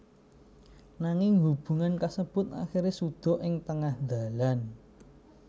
Nanging hubungan kasebut akhiré suda ing tengah dalan